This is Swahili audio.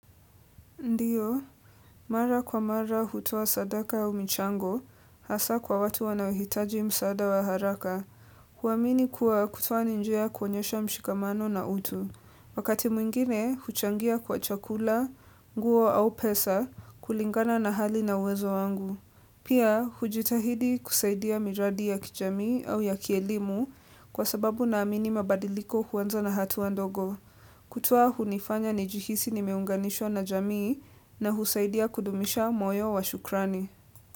Ndiyo, mara kwa mara hutoa sadaka au michango, hasa kwa watu wanaohitaji msaada wa haraka. Huamini kuwa kutoa ni njia ya kuonyesha mshikamano na utu. Wakati mwingine, huchangia kwa chakula, nguo au pesa, kulingana na hali na uwezo wangu. Pia, hujitahidi kusaidia miradi ya kijamii au ya kielimu kwa sababu naamini mabadiliko huanza na hatua wa ndogo. Kutoa hunifanya nijihisi nimeunganishwa na jamii na husaidia kudumisha moyo wa shukrani.